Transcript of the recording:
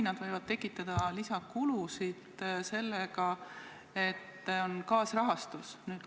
Nad võivad tekitada lisakulusid sellega, et on kaasrahastus.